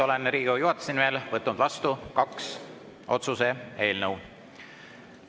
Olen Riigikogu juhatuse nimel vastu võtnud kaks otsuse eelnõu.